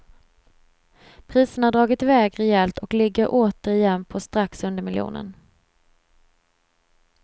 Priserna har dragit i väg rejält och ligger åter igen på strax under miljonen.